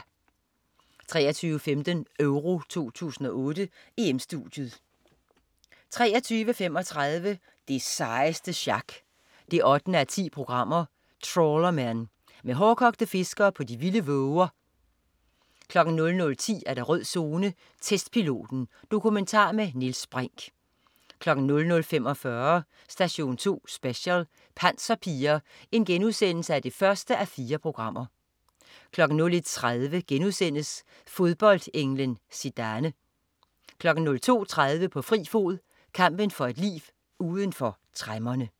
23.15 EURO 2008: EM-Studiet 23.35 Det sejeste sjak 8:10. Trawlermen. Med hårdkogte fiskere på de vilde våger 00.10 Rød Zone: Testpiloten. Dokumentar med Niels Brinch 00.45 Station 2 Special: Panserpiger 1:4* 01.30 Fodboldenglen Zidane* 02.30 På fri fod. Kampen for et liv uden for tremmerne